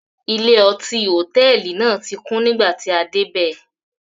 Ilé-ọtí hòtẹ́ẹ́lì náà tí kún nígbà tí a dé bẹ́ẹ̀.